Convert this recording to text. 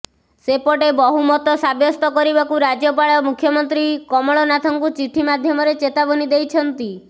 ସେପଟେ ବହୁମତ ସାବ୍ୟସ୍ତ କରିବାକୁ ରାଜ୍ୟପାଳ ମୁଖ୍ୟମନ୍ତ୍ରୀ କମଳନାଥଙ୍କୁ ଚିଠି ମାଧ୍ୟମରେ ଚେତାବନୀ ଦେଇଛନ୍ତି